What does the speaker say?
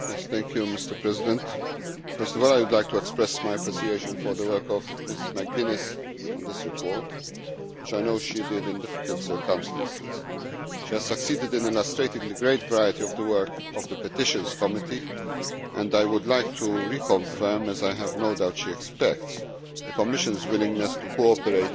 Mr President, first of all I would like to express my appreciation for the work of Mrs McGuinness on this report, which I know she did in difficult circumstances. She has succeeded in illustrating the great variety of the work of the Committee on Petitions and I would like to reconfirm, as I have no doubt she expects, the Commission's willingness to cooperate